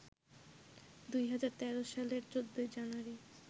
২০১৩ সালের ১৪ জানুয়ারি